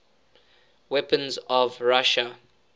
weapons of russia